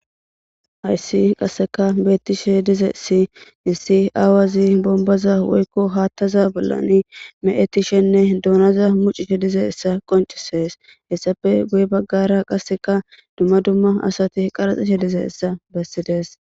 hayssi qasseka beettishe dize si hissi aawazi bombaza woykko haattaza bollan me7etishenne duunaza mucishe dize issa qoncisees hessafe guye baggara qasseka dumma dumma asati qaraxishe dize issa bessides